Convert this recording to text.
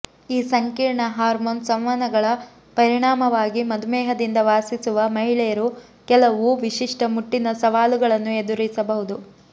ಈ ಸಂಕೀರ್ಣ ಹಾರ್ಮೋನ್ ಸಂವಹನಗಳ ಪರಿಣಾಮವಾಗಿ ಮಧುಮೇಹದಿಂದ ವಾಸಿಸುವ ಮಹಿಳೆಯರು ಕೆಲವು ವಿಶಿಷ್ಟ ಮುಟ್ಟಿನ ಸವಾಲುಗಳನ್ನು ಎದುರಿಸಬಹುದು